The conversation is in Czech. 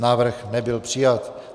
Návrh nebyl přijat.